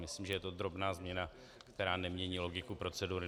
Myslím, že je to drobná změna, která nemění logiku procedury.